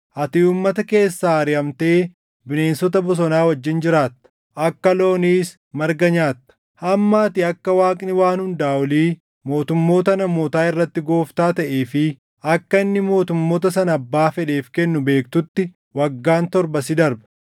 Ati uummata keessaa ariʼamtee bineensota bosonaa wajjin jiraatta. Akka looniis marga nyaatta. Hamma ati akka Waaqni Waan Hundaa Olii mootummoota namootaa irratti Gooftaa taʼee fi akka inni mootummoota sana abbaa fedheef kennu beektutti waggaan torba si darba.”